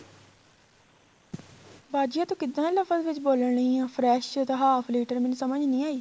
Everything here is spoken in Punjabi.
ਬਾਜੀ ਆ ਤੂੰ ਕਿੱਦਾਂ ਲਫਜ ਵਿੱਚ ਬੋਲਣ ਦੀ ਏ fresh half liter ਮੈਨੂੰ ਸਮਝ ਨਹੀਂ ਆਈ